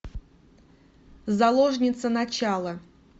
заложница начало